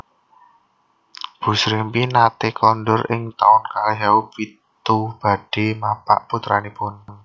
Bu Srimpi nate kondur ing taun kalih ewu pitu badhe mapak putranipun